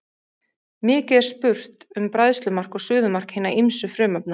Mikið er spurt um bræðslumark og suðumark hinna ýmsu frumefna.